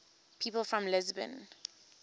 people from lisbon